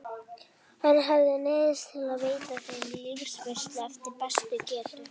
Hann hafði neyðst til að veita þeim liðveislu eftir bestu getu.